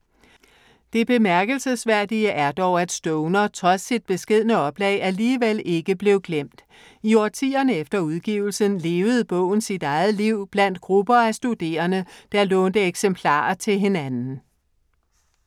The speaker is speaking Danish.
Det bemærkelsesværdige er dog at Stoner, trods sit beskedne oplag, alligevel ikke blev glemt. I årtierne efter udgivelsen levede bogen sit eget liv blandt grupper af studerende, der lånte eksemplarer til hinanden.